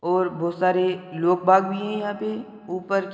और बहुत सारे लोक भाग भी है यहाँ पे ऊपर --